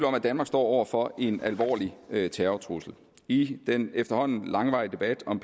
om at danmark står over for en alvorlig terrortrussel i den efterhånden langvarige debat om